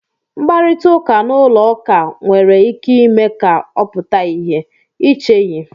Mkparịta ụka n'ụlọ ụka nwere ike ime ka ọ pụta ìhè, ị cheghị?"